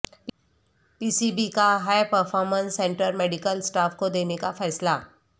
پی C B کا high performance centre medical staff کو دینے کا فیصلہ